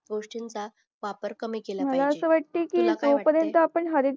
गोष्टींचा वापर कामि केला पाहिजे तुला काय वाट